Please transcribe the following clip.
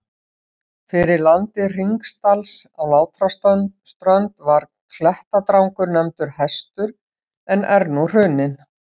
Fyrir landi Hringsdals á Látraströnd var klettadrangur nefndur Hestur en er nú hruninn.